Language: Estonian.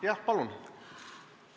Jah, palun!